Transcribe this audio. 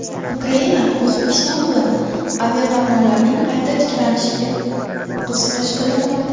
Ukraina O‘zbekiston bilan aviaqatnovlarning qayta tiklanishiga qiziqish bildirmoqda.